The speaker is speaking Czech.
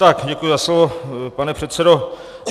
Tak děkuji za slovo, pane předsedo.